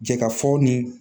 Jɛka fɔ nin